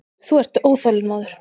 Þú ert óþolinmóður.